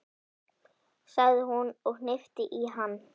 sagði hún og hnippti í hann.